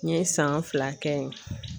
N ye san fila kɛ yen